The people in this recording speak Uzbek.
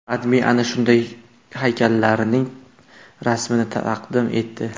AdMe ana shunday haykallarning rasmini taqdim etdi.